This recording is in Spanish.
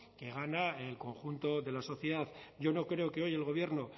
gana el conjunto de la sociedad yo no creo que hoy el gobierno